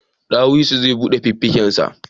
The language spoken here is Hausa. Dawisu zai bude fuffiken shi